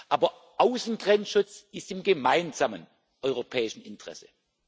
Aber Außengrenzschutz ist im gemeinsamen europäischen Interesse.